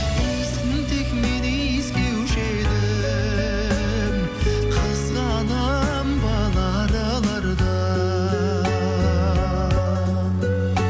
иісін тек мен иіскеуші едім қызғанамын бал аралардан